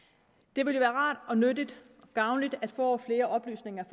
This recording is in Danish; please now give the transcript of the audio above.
det ville være rart nyttigt og gavnligt at få flere oplysninger